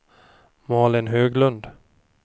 Malin Höglund